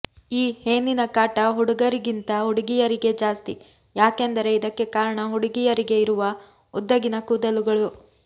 ಈ ಹೇನಿನ ಕಾಟ ಹುಡುಗರಿಗಿಂತ ಹುಡುಗಿಯರಿಗೇ ಜಾಸ್ತಿ ಯಾಕೆಂದರೆ ಇದಕ್ಕೆ ಕಾರಣ ಹುಡುಗಿಯರಿಗೆ ಇರುವ ಉದ್ದಗಿನ ಕೂದಲುಗಳು